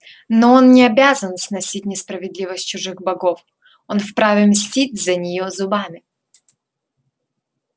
но он не обязан сносить несправедливость чужих богов он вправе мстить за неё зубами